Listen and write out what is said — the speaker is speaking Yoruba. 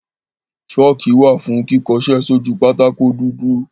ṣọ́kì wà fún kíkọṣẹ́ sójú pátákó dúdú.